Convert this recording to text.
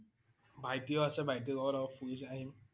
ভাইটি ও আছে ভাইটি লগত অলপ ফুৰি ও আহিম